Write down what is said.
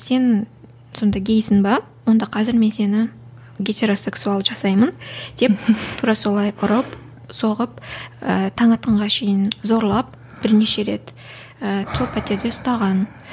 сен сонда гейсің бе онда қазір мен сені гетеросексуал жасаймын деп тура солай ұрып соғып ы таң атқанға шейін зорлап бірнеше рет і сол пәтерде ұстаған